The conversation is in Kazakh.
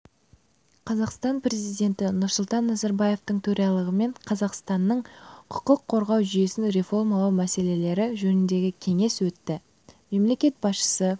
қазақстан президенті нұрсұлтан назарбаевтың төрағалығымен қазақстанның құқық қорғау жүйесін реформалау мәселелері жөніндегі кеңес өтті мемлекет басшысы